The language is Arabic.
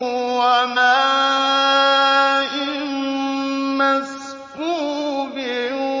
وَمَاءٍ مَّسْكُوبٍ